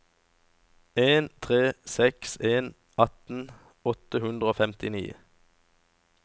en tre seks en atten åtte hundre og femtini